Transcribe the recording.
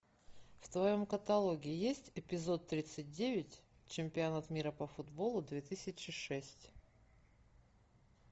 в твоем каталоге есть эпизод тридцать девять чемпионат мира по футболу две тысячи шесть